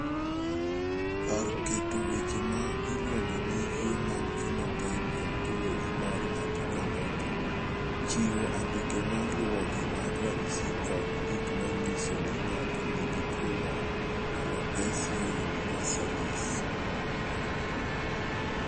Kar keto weche ma iluongo ni Human Phenotype Ontology mar ng�ato ka ng�ato chiwo andike ma luwogi mag ranyisi kod gik ma nyiso ni ng�ato nigi tuo mar Alopecia universalis.